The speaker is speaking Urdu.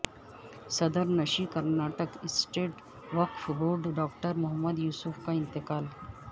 صدر نشین کرناٹک اسٹیٹ وقف بورڈ ڈاکٹر محمد یوسف کا انتقال